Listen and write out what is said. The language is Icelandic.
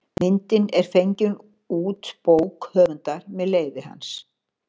Myndin er fengin út bók höfundar með leyfi hans.